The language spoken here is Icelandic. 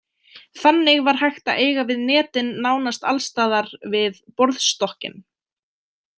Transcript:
Þannig var hægt að eiga við netin nánast alls staðar við borðstokkinn.